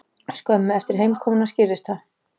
Skömmu eftir heimkomuna skýrðist það.